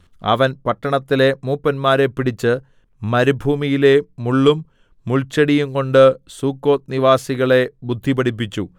അവൻ പട്ടണത്തിലെ മൂപ്പന്മാരെ പിടിച്ച് മരുഭൂമിയിലെ മുള്ളും മുൾച്ചെടിയും കൊണ്ട് സുക്കോത്ത്നിവാസികളെ ബുദ്ധിപഠിപ്പിച്ചു